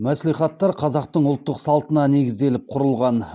мәслихаттар қазақтың ұлттық салтына негізделіп құрылған